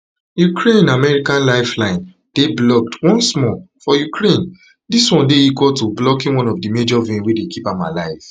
ukraine american lifeline dey blocked once more for ukraine dis one dey equal to blocking of one major vein wey dey keep am alive